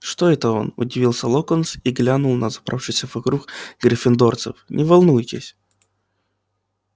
что это он удивился локонс и глянул на собравшихся вокруг гриффиндорцев не волнуйтесь